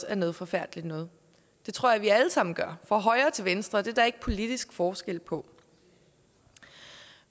er noget forfærdeligt noget det tror jeg vi alle sammen gør fra højre til venstre det er der ikke politisk forskel på